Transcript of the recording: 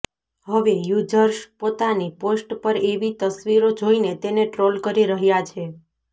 હવે યુઝર્સ પોતાની પોસ્ટ પર એવી તસવીરો જોઇને તેને ટ્રોલ કરી રહ્યાં છે